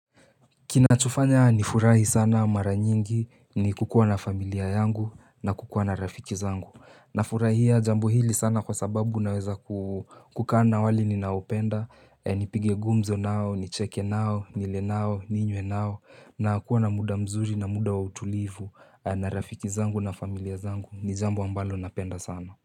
Kinachofanya ni furahi sana mara nyingi ni kukuwa na familia yangu na kukuwa na rafiki zangu na furahia jambo hili sana kwa sababu naweza kukaa wale ninaopenda Nipige gumzo nao, nicheke nao, nile nao, ninywe nao na kuwa na muda mzuri na muda wa utulivu na rafiki zangu na familia zangu ni jambu ambalo napenda sana.